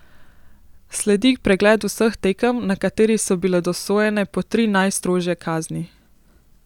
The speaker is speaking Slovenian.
Sledi pregled vseh tekem, na kateri so bile dosojene po tri najstrožje kazni.